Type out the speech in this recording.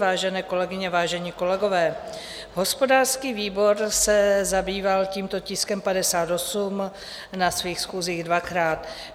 Vážené kolegyně, vážení kolegové, hospodářský výbor se zabýval tímto tiskem 58 na svých schůzích dvakrát.